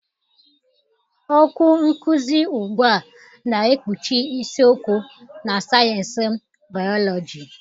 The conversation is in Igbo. Okwu nkuzi ugbu a na-ekpuchi isiokwu na sayensị bịyọlojị.